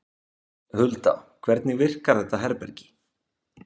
Hulda, hvernig virkar þetta herbergi?